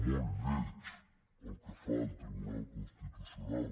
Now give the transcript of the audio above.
molt lleig el que fa el tribunal constitucional